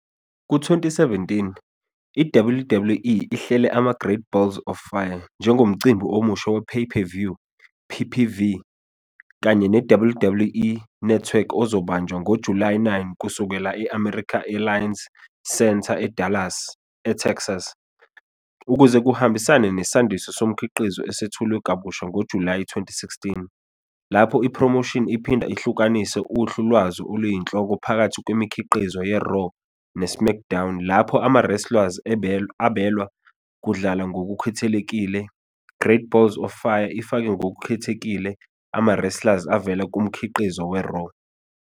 Ku-2017, i- WWE ihlele ama-Great Balls of Fire njengomcimbi omusha we- pay-per-view, PPV, kanye ne- WWE Network ozobanjwa ngoJulayi 9 kusukela e- American Airlines Center e- Dallas, eTexas. Ukuze kuhambisane nesandiso somkhiqizo esethulwe kabusha ngoJulayi 2016, lapho iphromoshini iphinda ihlukanise uhlu lwazo oluyinhloko phakathi kwemikhiqizo ye-Raw ne- SmackDown lapho ama-wrestlers abelwe ukudlala ngokukhethekile, Great Balls of Fire ifake ngokukhethekile ama-wrestlers avela kumkhiqizo we-Raw.